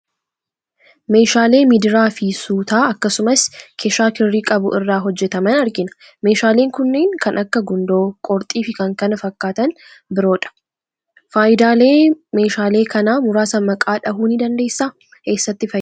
Meeshaalee midiraa fi sutaa, akkasumas keeshaa kirrii qabu irraa hojjetaman argina. Meeshaaleen kunneen kan akka gundoo, qorxii fi fi kan biroodha. Faayidaalee meeshaalee kana muraasa maqaa dhahuu ni dandeessaa? Eessatti fayyadu?